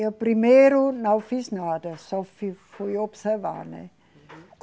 Eu primeiro não fiz nada, só fi, fui observar, né? Uhum.